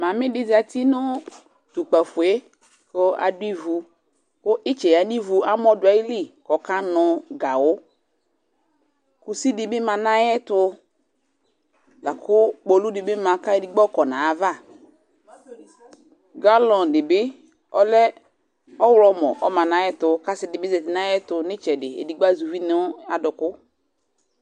Mamɩ dɩ zati nʋ tʋ ukpǝfo yɛ kʋ adʋ ivu kʋ ɩtsɛ yǝ nʋ ivu yɛ kʋ amɔ dʋ ayili kʋ ɔkanʋ gawʋ Kusi dɩ bɩ ma nʋ ayɛtʋ la kʋ kpolu dɩ bɩ ma kʋ ayɔ edigbo yɔkɔ nʋ ayava Galɔn dɩ bɩ ɔlɛ ɔɣlɔmɔ kʋ ɔma nʋ ayɛtʋ kʋ asɩ dɩ bɩ zati nʋ ayɛtʋ nʋ ɩtsɛdɩ edigbo azɛ uvi nʋ adʋkʋ